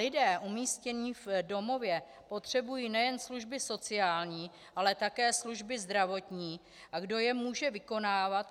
Lidé umístění v domově potřebují nejen služby sociální, ale také služby zdravotní, a kdo je může vykonávat?